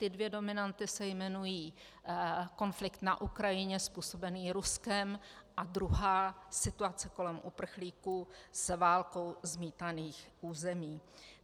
Ty dvě dominanty se jmenují konflikt na Ukrajině způsobený Ruskem a druhá situace kolem uprchlíků z válkou zmítaných území.